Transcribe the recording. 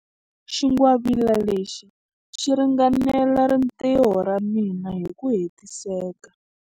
Xingwavila lexi xi ringanela rintiho ra mina hi ku hetiseka.